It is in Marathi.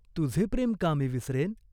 तुझे प्रेम का मी विसरेन ?